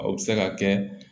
A bɛ se ka kɛ